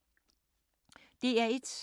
DR1